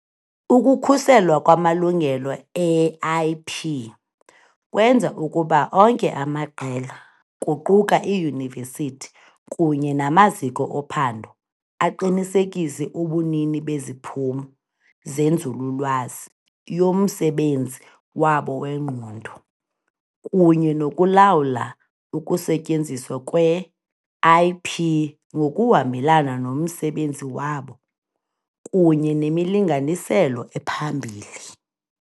Ukukhuselwa kwamalungelo e-IP kwenza ukuba onke amaqela, kuquka iiyunivesithi kunye namaziko ophando aqinisekise ubunini beziphumo zenzululwazi yomsebenzi wabo wengqondo, kunye nokulawula ukusetyenziswa kwe-IP ngokuhambelana nomsebenzi wabo kunye nemilinganiselo ephambili.